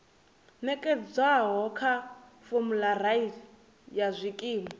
nekedzwaho kha formulary ya zwikimu